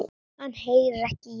Hann heyrir ekki í henni.